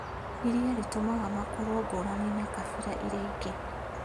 ĩrĩa ĩtũmaga makorũo ngũrani na kabira iria ingĩ.